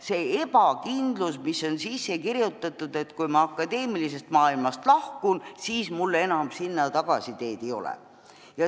See ebakindlus on sisse kirjutatud süsteemi ja kui ma akadeemilisest maailmast lahkun, siis mul enam sinna tagasiteed ei ole.